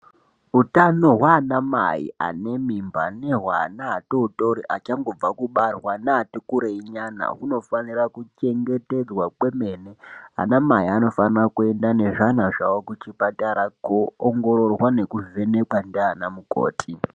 Utano hwaanamai anemimba nehweana atootori achangobva kubarwa neatikurei nyana hunofanira kuchengetedzwa kwemene. Anamai anofanira kuenda nezvana zvawo chipatara kuoongororwa nekuvhenekwa ndiana mukoti.